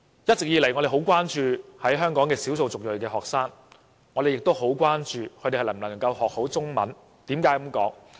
一直以來，我們十分關注香港的少數族裔學生，亦十分關注他們能否學好中文。